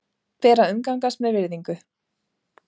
Ber að umgangast með virðingu.